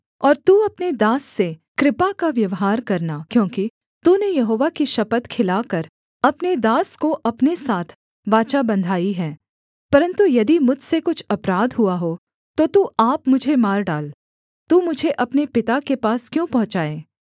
और तू अपने दास से कृपा का व्यवहार करना क्योंकि तूने यहोवा की शपथ खिलाकर अपने दास को अपने साथ वाचा बँधाई है परन्तु यदि मुझसे कुछ अपराध हुआ हो तो तू आप मुझे मार डाल तू मुझे अपने पिता के पास क्यों पहुँचाए